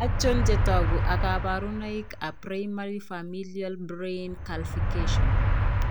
Achon chetogu ak kaborunoik ab primary Familial Brain Calcfication?